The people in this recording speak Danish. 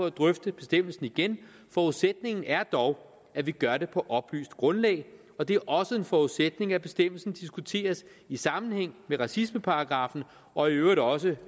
at drøfte bestemmelsen igen forudsætningen er dog at man gør det på et oplyst grundlag og det er også en forudsætning at bestemmelsen diskuteres i sammenhæng med racismeparagraffen og i øvrigt også